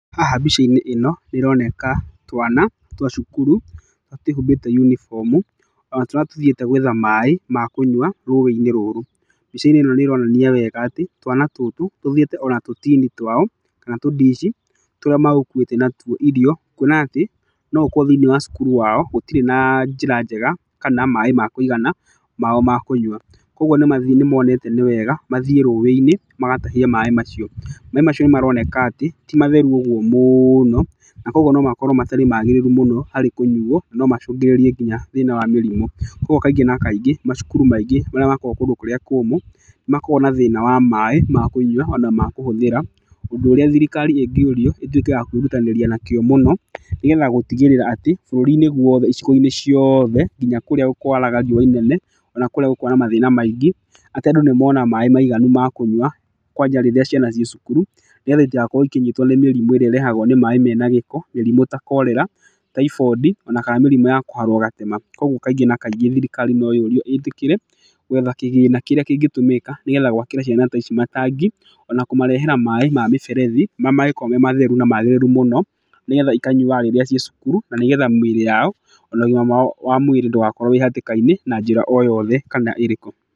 Haha mbica-inĩ ĩno, ĩroneka twana twa cukuru tũrĩa twĩhumbĩte uniform ona tũrĩa tũthiĩte gwetha maĩ ma kũnywa rũwĩ-inĩ rũrũ. Mbica ĩno nĩ ĩronania wega atĩ twana tũtũ, tuthiĩte ona tũtini twao kana tũndici turĩa megũkuĩte natuo ĩrio kwona atĩ, no gũkorwo thĩina wa cukuru wao gũtirĩ na njĩra njega kana maĩĩ ma kũigana mao ma kũnywa. Koguo nĩ mathiĩte, nĩ monete nĩ wega mathiĩ rũĩ-inĩ magatahie maĩĩ macio. Maĩĩ macio nĩ maroneka atĩ timatheru ũguo mũũno na koguo no makorwo matarĩ magĩrĩru mũno harĩ kũnyuo no macũngĩrĩrie nginya thĩna wa mĩrimũ. Koguo kaingĩ na kaingĩ macukuru maingĩ marĩa makoragwo kũndũ kũrĩa kũmũ makoragwo na thĩna wa maĩĩ ma kũnywa ona makũhũthĩra, ũndũ ũrĩa thirikari ĩngĩũrio ĩtwĩke ya kwĩrutanĩria nakĩo mũno nĩgetha gũtigĩrĩra atĩ bũrũri-inĩ woothe icigo-inĩ ciothe nginya kũrĩa kwaraga riũa inene na kũrĩa gũkoragwo na mathĩna maingĩ, atĩ andũ nĩmona maĩĩ maiganũ makũnywa kwanja rĩrĩa ciana ciĩ cukuru nĩgetha itigakorwo ĩkĩnyitwo nĩ mĩrimu ĩrĩa ĩrehagwo nĩ maĩĩ mena gĩko. Mĩrimu ta cholera, typhoindi kana mĩrimu ya kũharwo gatema. Koguo kaingĩ na kaingĩ thirikari no yũrio ĩtĩkĩre gwetha kĩgĩna kĩrĩa kĩngĩtũmĩka nĩgetha gwakĩra ciana ta ici matangi ona kũmarehera maĩĩ ma mĩberethi marĩa mangĩkorwo me matheru na magĩrĩru mũno nĩgetha ikanyuaga rĩrĩa ciĩ cukuru, na nĩgetha mĩrĩ yao ona ũgima wao wa mwĩrĩ ndũgakorwo wĩ hatĩka-inĩ na njĩra o yothe kana ĩrĩkũ.